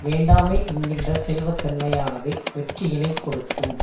வேண்டாமை என்கின்ற செல்வத்தன்மையானது வெற்றியினைக் கொடுக்கும்